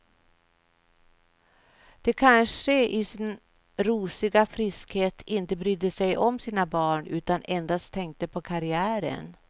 De kanske i sin rosiga friskhet inte brydde sig om sina barn utan endast tänkte på karriären.